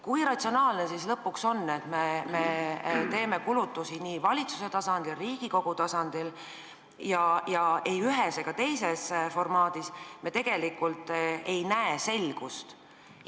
Kui ratsionaalne lõpuks on, et me teeme kulutusi nii valitsuse tasandil kui ka Riigikogu tasandil ja ei ühes ega teises formaadis me tegelikult ei näe selgust?